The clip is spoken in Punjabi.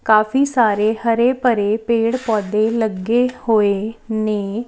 ਕਾਫੀ ਸਾਰੇ ਹਰੇ ਭਰੇ ਪੇਡ ਪੌਦੇ ਲੱਗੇ ਹੋਏ ਨੇ।